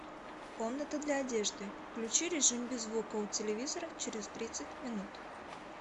комната для одежды включи режим без звука у телевизора через тридцать минут